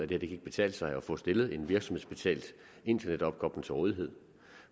det ikke kan betale sig at få stillet en virksomhedsbetalt internetopkobling til rådighed